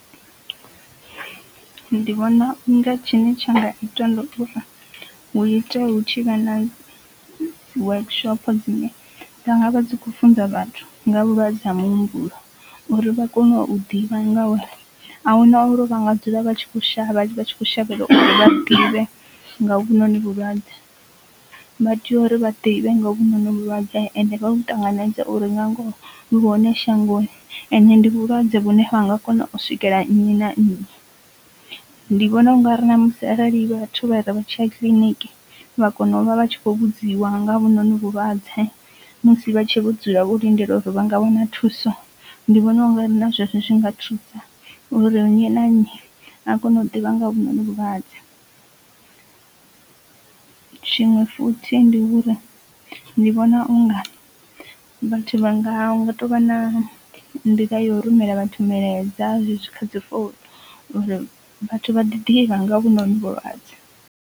Ndi vhona unga tshine tsha nga itiwa hu ite hu tshi vha na workshop dzine dza nga vha dzi khou funza vhathu nga vhulwadze ha muhumbulo uri vha kone u ḓivha nga uri ahuna uri u vhanga dzula vha tshi kho shavha vha tshi kho shavhela uri vha ḓivhe nga hovhunoni vhulwadze. Vha tea uri vha ḓivhe nga hovhunoni vhulwadze ende vha vhu ṱanganedze uri nga ngoho vhu hone shangoni ende ndi vhulwadze vhune ha nga kona u swikela nnyi na nnyi, ndi vhona u nga ri na musi arali vhathu vha re vhatshi ya kiḽiniki vha kona u vha vha tshi khou vhudziwa nga ha hovhunoni vhulwadze musi vha tshe vho dzula vho lindela uri vha nga wana thuso ndi vhona u nga ri na zwezwi zwi nga thusa uri nnyi na nnyi a kone u ḓivha nga hovhunoni vhulwadze. Tshiṅwe futhi ndi uri ndi vhona unga vhathu vha nga nga tou vha na nḓila ya u rumela vhathu milaedza kha dzi founu uri vhathu vha ḓivha nga ha hovhonovhu vhulwadze.